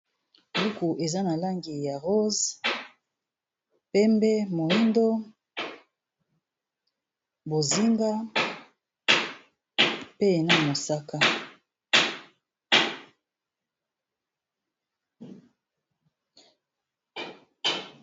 Buku eza na langi ya rose, pembe, moyindo, bozinga, pe na mosaka.